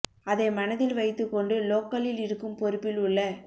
அதை மனதில் வைத்து கொண்டு லோக்கலில் இருக்கும் பொறுப்பில் உள்ள